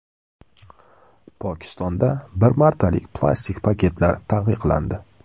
Pokistonda bir martalik plastik paketlar taqiqlandi.